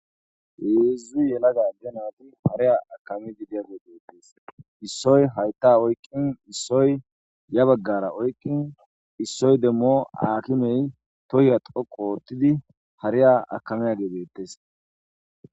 Heezzi yelaga de naati hareya akami bidiya geebeettes issoy hayta oykqin issoy ya baggara oykqin issoy demmo akimey tohiya xo koottidi hariya akame a geebeettes,